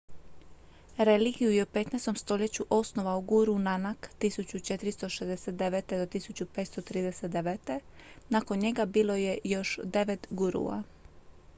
religiju je u 15. stoljeću osnovao guru nanak 1469. – 1539.. nakon njega bilo je još devet gurua